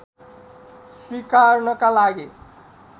स्वीकार्नका लागि